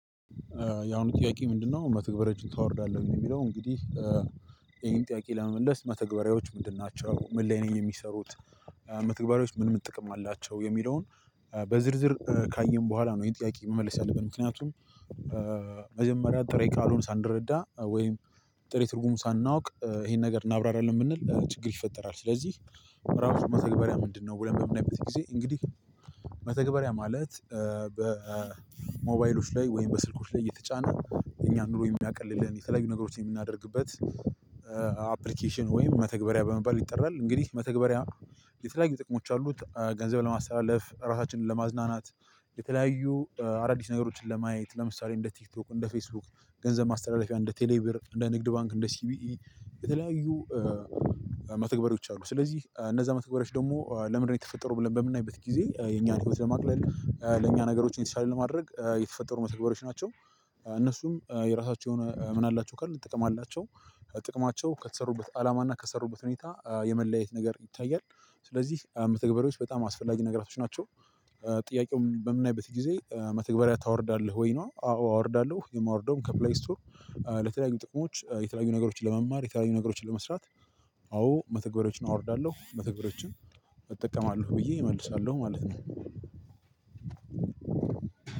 ያሁኑ ጥያቄ ምንድነው መተግበሪያዎችን ታወርዳለህ የሚለው እንግዲህ ይሄን ጥያቄ ለመመለስ መተግበሪያዎች ምንድን ናቸው ምን ላይ ነው የሚሰሩት? መተግበሪያዎች ምን ምን ጥቅም አላቸው የሚለውን በዝርዝር ካየን በኋላ ነው ይሄን ጥያቄ መመለስ ያለብን ምክንያቱም። መጀመሪያ ጥሬ ቃሉን ሳንረዳ ወይም ጥሬ ትርጉሙን ሳናውቅ ይሄን ነገር እናብራራለን ብንል ችግር ይፈጠራል። ስለዚህ ምዕራፍ መተግበሪያ ምንድነው ብለን በምን አይበት ጊዜ እንግዲህ? መተግበሪያ ማለት በሞባይሎች ላይ ወይም በስልኮች ላይ እየተጫነ እኛ ኑሮ የሚያቀልልን የተለያዩ ነገሮችን የምናደርግበት አፕሊኬሽን ወይም መተግበሪያ በመባል ይጠራል። እንግዲህ መተግበሪያ የተለያዩ ጥቅሞች አሉት። ገንዘብ ለማስተላለፍ ራሳችንን ለማዝናናት የተለያዩ አዳዲስ ነገሮችን ለማየት ለምሳሌ እንደ ቲክቶክ እንደ ፌስቡክ ገንዘብ ማስተላለፊያ እንደ ቴሌብር እንደ ንግድ ባንክ እንደ ሲቢኢ የተለያዩ መተግበሪያዎች አሉ። ስለዚህ እነዛ መተግበሪያዎች ደግሞ ለምንድነው የተፈጠሩ ብለን በምናይበት ጊዜ የኛን ህይወት ለማቅለል ለኛ ነገሮች እንዲሻል ለማድረግ የተፈጠሩ መተግበሪያዎች ናቸው። እነሱም የራሳቸው የሆነ ምን አላቸው ካልን ጥቅም አላቸው። ጥቅማቸው ከተሰሩበት አላማና ከሰሩበት ሁኔታ የመለያየት ነገር ይታያል። ስለዚህ መተግበሪያዎች በጣም አስፈላጊ ነገራቶች ናቸው። ጥያቄው በምናይበት ጊዜ መተግበሪያ ታወርዳለህ ወይ ነው? አዎ አወርዳለሁ የማወርደውም ከፕላይ ስቶር። ለተለያዩ ጥቅሞች የተለያዩ ነገሮችን ለመማር የተለያዩ ነገሮችን ለመስራት። አዎ መተግበሪያዎችን አወርዳለሁ መተግበሪያዎችን እጠቀማለሁ ብዬ እመልሳለሁ ማለት ነው።